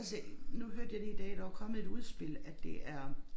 Altså nu hørte jeg lige i dag der var kommet et udspil at det er